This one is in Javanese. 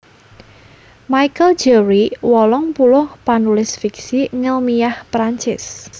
Michel Jeury wolung puluh panulis fiksi ngèlmiah Prancis